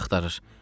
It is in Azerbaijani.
Məni axtarır.